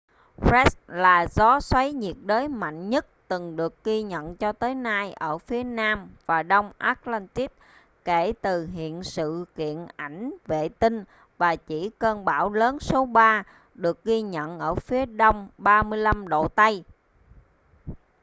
fred là gió xoáy nhiệt đới mạnh nhất từng được ghi nhận cho tới nay ở phía nam và đông atlantic kể từ hiện sự kiện ảnh vệ tinh và chỉ cơn bão lớn số ba được ghi nhận ở phía đông 35° tây